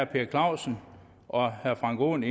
per clausen og frank aaen